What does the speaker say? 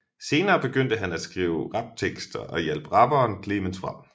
Senere begyndte han at skrive raptekster og hjalp rapperen Clemens frem